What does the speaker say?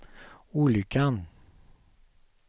olyckan